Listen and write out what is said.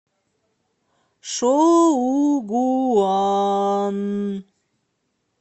шоугуан